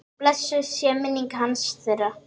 Blessuð sé minning hans, þeirra.